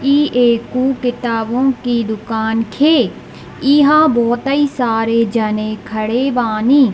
इ एकु किताबों के दुकान खे इहां बहुतेइ सारे जने खड़े बानी।